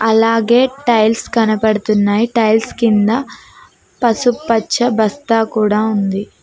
అలాగే టైల్స్ కనబడుతున్నాయి టైల్స్ కింద పసుపచ్చ బస్తా కూడా ఉంది.